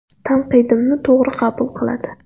Tanqidimni to‘g‘ri qabul qiladi.